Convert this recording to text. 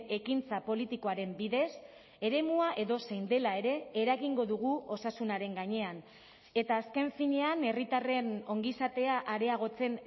ekintza politikoaren bidez eremua edozein dela ere eragingo dugu osasunaren gainean eta azken finean herritarren ongizatea areagotzen